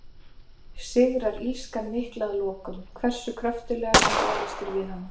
Sigrar illskan mikla að lokum, hversu kröftuglega sem barist er við hana?